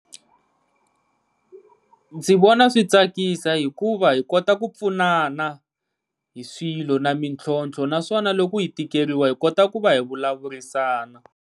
Ndzi vona swi tsakisa, hikuva hi kota ku pfunana hi swilo na mintlhontlho naswona loko hi tikeriwa hi kota ku va hi vulavurisana.